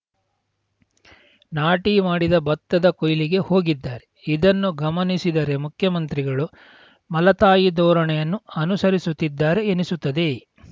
ನಾಟಿ ಮಾಡಿದ ಭತ್ತದ ಕೊಯ್ಲಿಗೆ ಹೋಗಿದ್ದಾರೆ ಇದನ್ನು ಗಮನಿಸಿದರೆ ಮುಖ್ಯಮಂತ್ರಿಗಳು ಮಲತಾಯಿ ಧೋರಣೆಯನ್ನು ಅನುಸರಿಸುತ್ತಿದ್ದಾರೆ ಎನ್ನಿಸುತ್ತದೆ